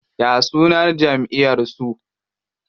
Ya sunan jamʼiyar su?